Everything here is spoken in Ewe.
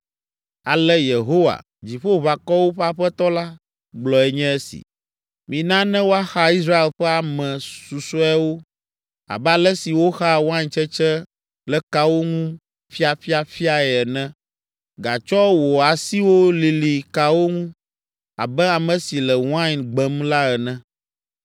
Ale Yehowa, Dziƒoʋakɔwo ƒe Aƒetɔ la, gblɔe nye si, “Mina ne woaxa Israel ƒe ame susɔeawo abe ale si woxaa waintsetse le kawo ŋu ƒiaƒiaƒiae ene. Gatsɔ wò asiwo lili kawo ŋu abe ame si le wain gbem la ene.”